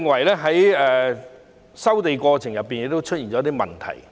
第二，我認為收地過程亦出現問題。